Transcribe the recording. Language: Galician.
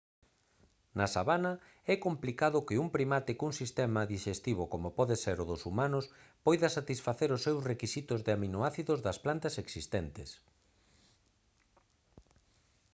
na sabana é complicado que un primate cun sistema dixestivo como pode ser o dos humanos poida satisfacer os seus requisitos de aminoácidos das plantas existentes